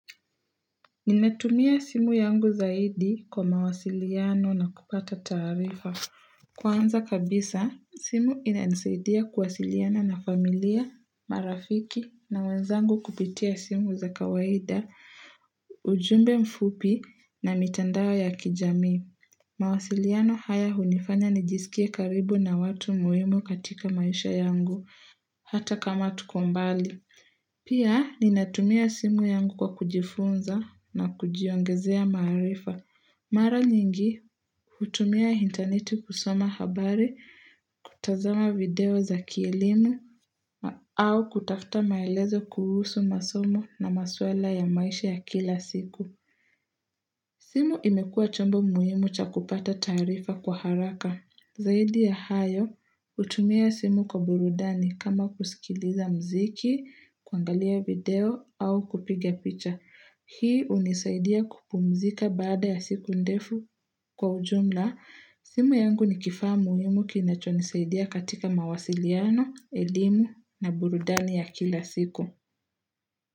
Ninatumia simu yangu zaidi kwa mawasiliano na kupata taarifa. Kwanza kabisa, simu inanisaidia kuwasiliana na familia, marafiki na wenzangu kupitia simu za kawaida, ujumbe mfupi na mitandao ya kijamii. Mawasiliano haya hunifanya nijisikie karibu na watu muhimu katika maisha yangu, hata kama tuko mbali. Pia, ninatumia simu yangu kwa kujifunza na kujiongezea maarifa. Mara nyingi, hutumia internet kusoma habari, kutazama video za kielimu au kutafta maelezo kuhusu masomo na maswala ya maisha ya kila siku. Simu imekua chombo muhimu cha kupata taarifa kwa haraka. Zaidi ya hayo, hutumia simu kwa burudani kama kusikiliza mziki, kuangalia video au kupiga picha. Hii hunisaidia kupumzika baada ya siku ndefu kwa ujumla. Simu yangu ni kifaa muhimu kinachonisaidia katika mawasiliano, elimu na burudani ya kila siku.